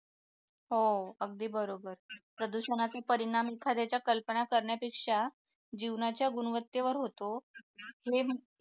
हो अगदी बरोबर प्रदूषणाचा परिणाम एखाद्याच्या कल्पना करण्यापेक्षा जीवनाच्या गुणवत्तेवर होतो हे